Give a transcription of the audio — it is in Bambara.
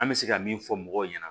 An bɛ se ka min fɔ mɔgɔw ɲɛna